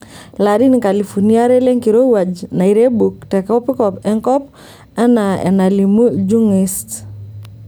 Ilarin nkalifuni are lenkirowuaj nairebuk tekopikop enkop anaa enalimu Ljungqyist.